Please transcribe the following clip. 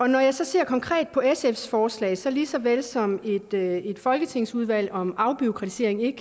når jeg ser konkret på sfs forslag så lige såvel som at et folketingsudvalg om afbureaukratisering ikke